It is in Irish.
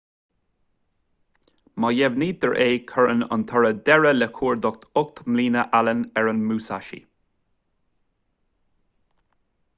má dheimhnítear é cuireann an toradh deireadh le cuardach ocht mbliana allen ar an musashi